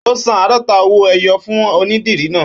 Ó san àádọ́ta owó ẹyọ fún onídìrí náà